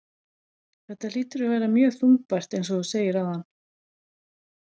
Þetta hlýtur að vera mjög þungbært eins og þú segir áðan?